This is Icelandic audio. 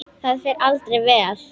Það fer aldrei vel.